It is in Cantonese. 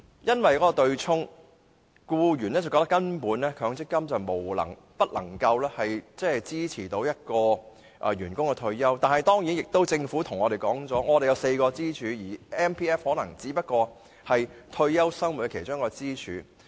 由於對沖的問題，僱員認為強積金根本不能支持僱員退休生活，但政府表示本港有4根支柱 ，MPF 只是退休生活的其中一根支柱。